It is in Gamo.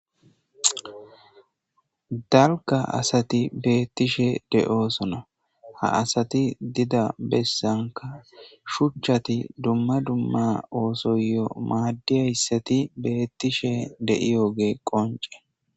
Dalga asati beettishe de'oosona ha asati dida bessanka shuchchati dumma dumma oosoyo maaddiyayssati beettishe de'iyoge qonce.